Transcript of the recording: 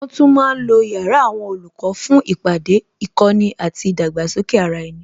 Wọn tún ma ń lo yàrá àwọn olùkọ́ fún ìpàdé, ìkọ́ni àti ìdàgbàsókè ara ẹni